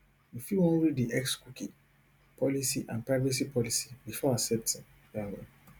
you fit wan read di xcookie policyandprivacy policybefore accepting um